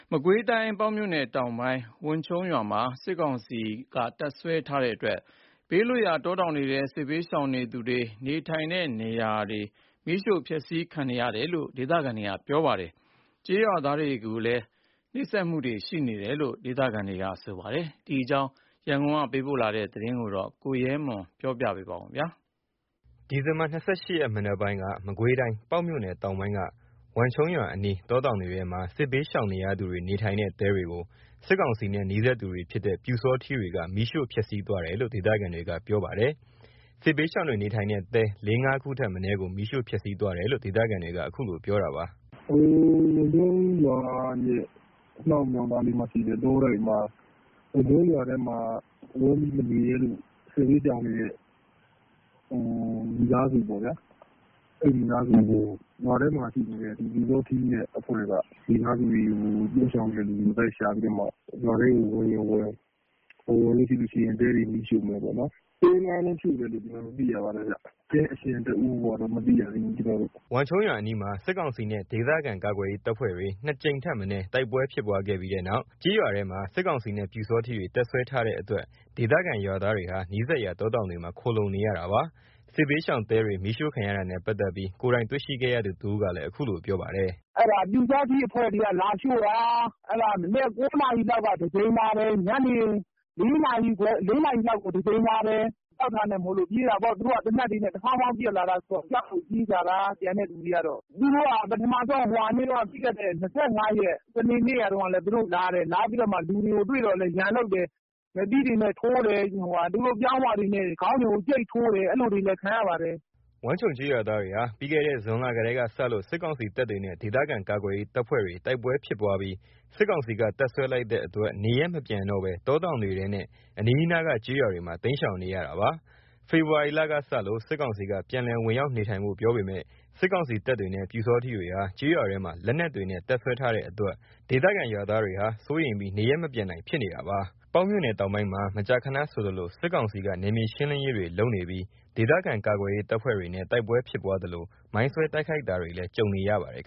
မကွေးတိုင်း ပေါက်မြို့နယ် တောင်ပိုင်း ဝန်ခြုံးရွာမှာ စစ်ကောင်စီက တပ်စွဲထားတဲ့အတွက် ဘေးလွတ်ရာ တောတောင်တွေထဲ စစ်ဘေးရှောင်နေသူတွေ နေထိုင်တဲ့နေရာတွေ မီးရှို့ဖျက်ဆီးခံရတယ်လို့ ဒေသခံတွေက ပြောပါတယ်။ ကျေးရွာသားတွေကိုလည်း နှိပ်စက်တာတွေရှိတယ်လို့လည်း ဒေသခံတွေက ပြောပါတယ်။ ဒီအကြောင်း ရန်ကုန်ကလာတဲ့သတင်းကို ကိုရဲမွန်က ပြောပြပါမယ်။ ဒီဇင်ဘာ ၂၈ ရက်မနက်ပိုင်းက မကွေးတိုင်း ပေါက်မြို့နယ် တောင်ပိုင်းက ဝန်းခြုံရွာ အနီး တောတောင်တွေထဲမှာ စစ်ဘေးရှောင်နေရသူတွေ နေထိုင်တဲ့ တဲတွေကို စစ်ကောင်စီနဲ့ နီးစပ်သူတွေဖြစ်တဲ့ ပျူစောထီးတွေက မီးရှို့ဖျက်ဆီးသွားတယ်လို့ ဒေသခံတွေကပြောပါတယ်။ စစ်ဘေးရှောင်တွေနေထိုင်တဲ့ တဲ ၄/၅ ခုထက်မနည်းကို မီးရှို့ဖျက်ဆီးသွားတယ်လို့ ဒေသခံတွေက အခုလိုပြောတာပါ။ “ဝန်ခြုံးရွာရဲ့ အနောက်နားလေးမှာရှိတဲ့ တောတိုက်မှာ ဝန်ခြုံးရွာထဲမှာ ဝင်ပြီးမနေရဲလို့ စစ်ဘေးရှောင်နေတဲ့ မိသားစုပေါ့ဗျာ။ အဲ့မိသားစုတွေကို ရွာထဲမှာရှိတဲ့ ပျူစောထီးနဲ့ အဖွဲ့က မိသားစုတွေကို လိုက်ရှာပြီးတော့မှ ရွာထဲကို ဝင်ရင်ဝင် မဝင်ရင် တဲတွေကိုမီးရှို့မယ်ပေါ့ဗျာ။ တဲ ၅ လုံးမီးရှို့တယ်လို့တော့ ကျွန်တော်တို့ သိရတယ်။ တဲရှင်တဦးကိုက မသိရသေးဘူး။” ဝန်းခြုံးရွာအနီးမှာ စစ်ကောင်စီနဲ့ ဒေသခံကာကွယ်ရေး တပ်ဖွဲ့တွေ ၂ ကြိမ်ထက်မနည်း တိုက်ပွဲဖြစ်ပွားပြီးတဲ့နောက် ကျေးရွာထဲမှာ စစ်ကောင်စီနဲ့ ပျူစောထီးတွေ တပ်စွဲထားတဲ့ အတွက် ဒေသခံ ရွာသားတွေဟာ နီးစပ်ရာတောတောင်တွေမှာ ခိုလှုံနေရတာပါ။ စစ်ဘေးရှောင်တဲတွေ မီးရှို့ခံရတာနဲ့ ပတ်သက်ပြီး ကိုယ်တိုင်တွေ့ရှိတဲ့သူတဦးကလည်း အခုလိုပြောပါတယ်။ “အဲ့ဒါပျူစောထီးအဖွဲ့တွေက လာရှို့တာ။ မနက် ၉ နာရီလောက်မှာ တကြိမ်လာတယ်။ ညနေ ၄ နာရီလောက်ကို တကြိမ်လာတယ်။ ကြောက်တာမို့လို့ပြေးရတယ်။ သူတို့က သေနတ်တွေ တဖောင်းဖောင်းနဲ့ ပစ်ပြီးတော့ ဝင်လာတော့ ကျန်တဲ့သူတွေက ကြောက်လို့ပြေးကြတာ။ သူတို့က ပထမဆုံး ပြီးခဲ့တဲ့ ၂၅ ရက် စနေနေ့တုန်းကလည်း လာတယ်။ လာပြီးတော့မှ လူတွေကိုတွေ့တော့လည်း ရန်လုပ်တယ်။ လက်သီးတွေနဲ့ ထိုးတယ်။ သူတို့ပြောင်းဝတွေနဲ့ ခေါင်းဝတွေကို ကြိတ်ထိုးတယ်။ အဲ့လိုတွေလည်း ခံရပါတယ်။” ဝန်းခြုံးကျေးရွာသားတွေဟာ ပြီးခဲ့တဲ့ ဇွန်လကတည်းကစလို့ စစ်ကောင်စီတပ်တွေနဲ့ ဒေသခံကာကွယ်ရေး တပ်ဖွဲ့တွေတိုက်ပွဲတွေဖြစ်ပွားပြီး စစ်ကောင်စီက တပ်စွဲလိုက်တဲ့ အတွက နေရပ်မပြန်တော့ဘဲ တောတောင်တွေထဲနဲ့ အနီးနားက ကျေးရွာတွေမှာ တိမ်းရှောင်နေရတာပါ။ ဖေဖော်ဝါရီလကစလို့ စစ်ကောင်စီက ပြန်လည်ဝင်ရောက်နေထိုင်ဖို့ ပြောပေမယ့် စစ်ကောင်စီတပ်တွေနဲ့ ပျူစောထီးတွေဟာ ကျေးရွာထဲမှာ လက်နက်တွေနဲ့ တပ်စွဲထားတဲ့အတွက် ဒေသခံရွာသားတွေဟာ စိုးရိမ်ပြီး နေရပ်မပြန်နိုင်ဖြစ်နေတာပါ။ ပေါက်မြို့နယ်တောင်ပိုင်းမှာ မကြာခဏဆိုသလို နယ်မြေရှင်းလင်းရေးတွေလုပ်ပြီး ဒေသခံကာကွယ်ရေး တပ်ဖွဲ့တွေနဲ့ တိုက်ပွဲဖြစ်ပွားသလို မိုင်ဆွဲတိုက်ခိုက်တာတွေလည်း ကြုံရပါတယ်